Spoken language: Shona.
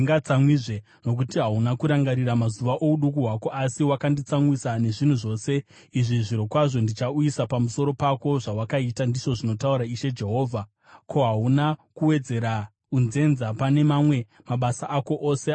“ ‘Nokuti hauna kurangarira mazuva ouduku hwako asi wakanditsamwisa nezvinhu zvose izvi, zvirokwazvo ndichauyisa pamusoro pako zvawakaita, ndizvo zvinotaura Ishe Jehovha. Ko, hauna kuwedzera unzenza pane mamwe mabasa ako ose anonyangadza here?